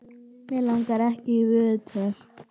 Mig langar ekki í viðtöl.